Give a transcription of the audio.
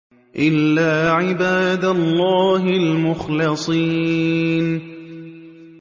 إِلَّا عِبَادَ اللَّهِ الْمُخْلَصِينَ